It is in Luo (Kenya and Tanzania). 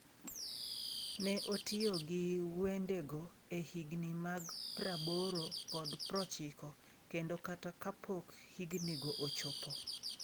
‘Ne otiyo gi wendego e higni mag praboro kod prochiko kendo kata kapok hignigo ochopo.